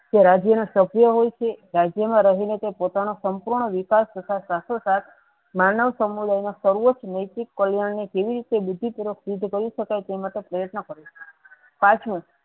તે રાજ્ય ના સભ્ય હોય છે રાજ્ય મા રહી ને તે પોતા નો સંપૂર્ણ વિકાસ તથા સાથે સાથ માનવ સમય ર્સવ ર્નીતી પરિણામો જેવી છે બીજી તરફ યુદ્ધ કરી સકાય તે મતલબ પ્રત્યન કરે પાંચમું.